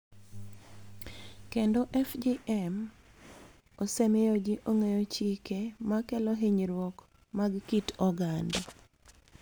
Kendo FGM osemiyo ji ong�eyo chike ma kelo hinyruok mag kit oganda,